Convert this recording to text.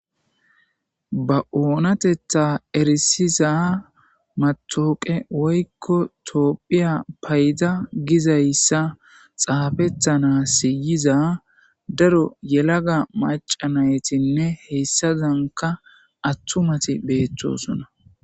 ba oonatetha erisiza matooqe woykko toophiya payda gizayssa xaafettana siyiza daro yelaga macanaytinne hessazanka attumati beettosona